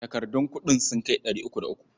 Takardun kuɗin sun kai ɗari uku da uku.